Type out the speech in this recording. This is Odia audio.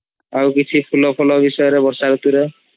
ଆଉ କିଛି ଫୁଲ ଫୁଲ ବିଷୟରେ ବର୍ଷା ରୁତୁ ରେ